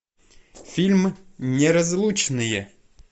фильм неразлучные